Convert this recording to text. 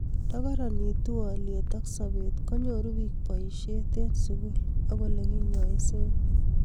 Nda karanit haliyet ab sobet ko nyoru piik boiset eng' sugul ak ole kinyaisee